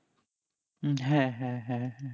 উম হ্যাঁ হ্যাঁ হ্যাঁ হ্যাঁ